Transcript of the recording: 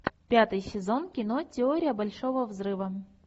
пятый сезон кино теория большого взрыва